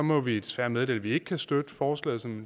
må vi desværre meddele at vi ikke kan støtte forslaget som